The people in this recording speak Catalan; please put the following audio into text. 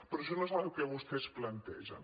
però això no és el que vostès plantegen